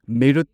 ꯃꯤꯔꯨꯠ